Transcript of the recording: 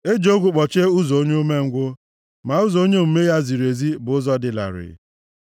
Eji ogwu gbochie ụzọ onye umengwụ, ma ụzọ onye omume ya ziri ezi bụ ụzọ dị larịị.